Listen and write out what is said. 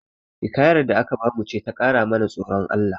Hikayar da aka bamu ce ta ƙara mana tsoron Allah